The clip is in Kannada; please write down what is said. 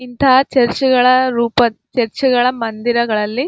ಇಂತ ಚರ್ಚ್ ಗಳ ರೂಪದ್ ಚರ್ಚ್ ಗಳ ಮಂದಿರಗಳಲ್ಲಿ --